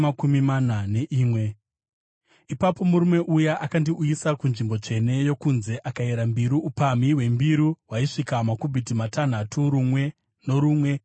Ipapo murume uya akandiuyisa kunzvimbo tsvene yokunze akayera mbiru, upamhi hwembiru hwaisvika makubhiti matanhatu rumwe norumwe.